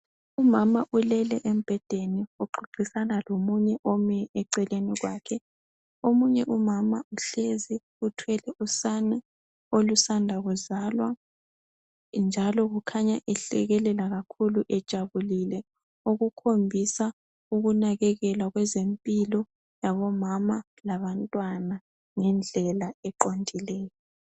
Umama ulele embhedeni uxoxisana lomunye ome eceleni kwakhe. Omunye umama uhlezi uthwele usane olusanda kuzalwa njalo kukhanya ehlekelela kakhulu ejabulile okukhombisa ukunakekelwa kwezempilo yabomama labantwana ngendlela eqondileyo.